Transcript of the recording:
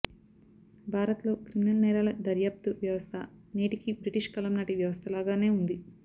భారత్లో క్రిమినల్ నేరాల దర్యాప్తు వ్యవస్థ నేటికీ బ్రిటిష్ కాలం నాటి వ్యవస్థ లాగానే ఉంది